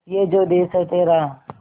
ये जो देस है तेरा